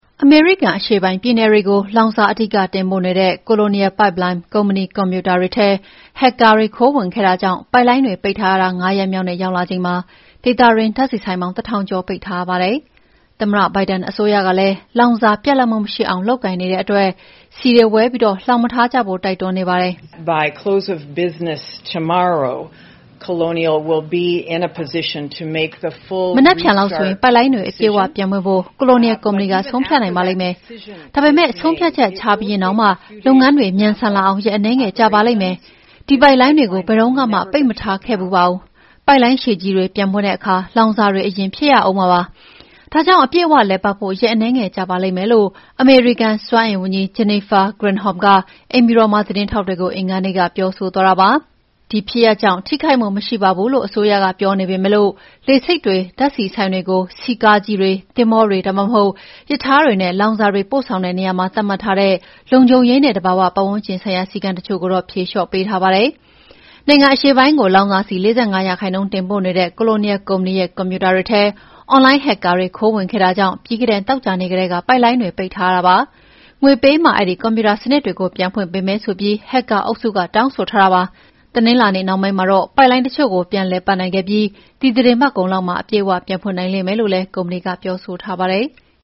အမေရိကန် အရှေ့ပိုင်းပြည်နယ်တွေကို လောင်စာအဓိက တင်ပို့နေတဲ့ Colonial Pipeline ကုမ္ပဏီကွန်ပျူတာတွေထဲ ဟက်ကာ ခိုးဝင်ခဲ့တာကြောင့် ပိုက်လိုင်းတွေ ပိတ်ထားရတာ ၅ ရက်မြောက်နေ့ရောက်လာချိန်မှာ ဒေသတွင်း ဓာတ်ဆီဆိုင်ပေါင်း ၁,၀၀၀ ကျော်ပိတ်ထားရပါတယ်။ သမ္မတဘိုင်ဒန်အစိုးရကလည်း လောင်စာပြတ်လပ်မှု မရှိအောင် လုပ်ကိုင်နေတဲ့အတွက် ဆီတွေ ဝယ်ပြီး လှောင်မထားကြဖို့ တိုက်တွန်းနေပါတယ်။ ”မနက်ဖြန်လောက်ဆိုရင် ပိုက်လိုင်းတွေ အပြည့်အ၀ ပြန်ဖွင့်ဖို့ Colonial ကုမ္ပဏီက ဆုံးဖြတ်နိုင်ပါလိမ့်မယ်။ ဒါပေမဲ့ ဆုံးဖြတ်ချက်ချပြီးရင်တောင်မှ လုပ်ငန်းတွေ မြန်ဆန်လာအောင် ရက် အနည်းငယ်ကြာပါလိမ့်မယ်။ ဒီပိုက်လိုင်းတွေကို ဘယ်တုန်းကမှ ပိတ်မထားခဲ့ဖူးပါဘူး။ ပိုက်လိုင်းရှည်ကြီးတွေ ပြန်ဖွင့်တဲ့အခါ လောင်စာတွေ အရင်ဖြည့်ရဦးမှာပါ။ ဒါကြောင့် အပြည့်အ၀ လည်ပတ်ဖို့ ရက်အနည်းငယ်ကြာပါလိမ့်မယ်။" လို့ အမေရိကန်စွမ်းအင်ဝန်ကြီး Jennifer Granholm က အိမ်ဖြူတော်မှာ သတင်းထောက်တွေကို အင်္ဂါနေ့က ပြောဆိုသွားတာဖြစ်ပါတယ်။ ဒီဖြစ်ရပ်ကြောင့် ထိခိုက်မှု မရှိပါဘူးလို့ အစိုးရက ပြောနေပေမဲ့ လေဆိပ်တွေ၊ ဓာတ်ဆီဆိုင်တွေကို ဆီကားကြီးတွေ၊ သင်္ဘောတွေ ဒါမှမဟုတ် ရထားတွေနဲ့ လောင်စာတွေ ပို့ဆောင်တဲ့နေရာမှာ သတ်မှတ်ထားတဲ့ လုံခြုံရေးနဲ့ သဘာဝပတ်ဝန်းကျင်ဆိုင်ရာ စည်းကမ်းတချို့ကိုတော့ ဖြေလျော့ပေးထားပါတယ်။ နိုင်ငံအရှေ့ပိုင်းကို လောင်စာဆီ ၄၅ ရာခိုင်နှုန်းတင်ပို့နေတဲ့ Colonial ကုမ္ပဏီရဲ့ ကွန်ပျူတာတွေထဲ အွန်လိုင်းဟက်ကာတွေ ခိုးဝင်ခဲ့တာကြောင့် ပြီးခဲ့တဲ့ သောကြာနေ့ကတည်းက ပိုက်လိုင်းတွေ ပိတ်ထားရတာပါ။ ငွေပေးမှ အဲဒီကွန်ပျူတာစနစ်တွေကို ပြန်ဖွင့်ပေးမယ်ဆိုပြီး ဟက်ကာအုပ်စုက တောင်းဆိုထားတာဖြစ်ပါတယ်။ တနင်္လာနေ့နှောင်းပိုင်းမှာ ပိုက်လိုင်းတချို့ကို ပြန်လည်ပတ်နိုင်ခဲ့ပြီး ဒီသီတင်းပတ်ကုန်လောက်မှာ အပြည့်အ၀ ပြန်ဖွင့်နိုင်မယ်လို့လည်း ကုမ္ပဏီက ပြောဆိုထားပါတယ်။